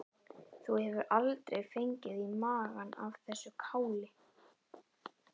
Þú hefur aldrei fengið í magann af þessu káli?